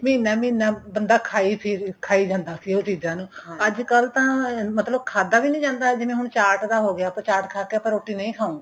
ਮਹੀਨਾ ਮਹੀਨਾ ਬੰਦਾ ਖਾਈ ਫ਼ਿਰ ਖਾਈ ਜਾਂਦਾ ਸੀ ਉਹ ਚੀਜਾਂ ਨੂੰ ਅੱਜਕਲ ਤਾਂ ਮਤਲਬ ਖਾਦਾਂ ਵੀ ਨਹੀਂ ਜਾਂਦਾ ਜਿਵੇਂ ਹੁਣ ਚਾਟ ਦਾ ਹੋ ਗਿਆ ਆਪਾਂ ਚਾਟ ਖਾਕੇ ਆਪਾਂ ਰੋਟੀ ਨਹੀਂ ਖਾਵਾਗੇ